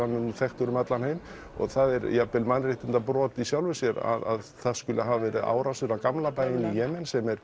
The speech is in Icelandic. er nú þekktur um allan heim og það er jafnvel mannréttindabrot í sjálfu sér að það skuli vera árásir á gamla bæinn í Jemen sem er